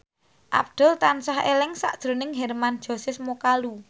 Abdul tansah eling sakjroning Hermann Josis Mokalu